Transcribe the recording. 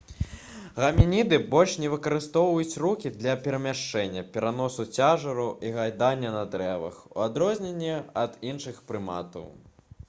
гамініды больш не выкарыстоўваюць рукі для перамяшчэння пераносу цяжару і гайдання на дрэвах у адрозненні ад іншых прыматаў